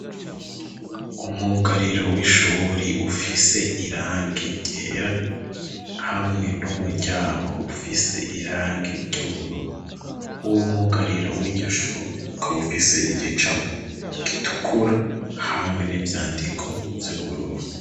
Umwugariro w'ishure ufise irangi ryera hamwe n'umuryango ufise irangi ry'ubururu. Uwo mwugariro w'iryo shure ukaba ufise igicapo gitukura hamwe n'ivyandiko vy'ubururu.